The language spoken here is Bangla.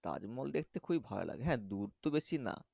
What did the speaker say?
তাজমহল দেখতে খুবই ভালো লাগে হ্যাঁ দূর তো বেশি না।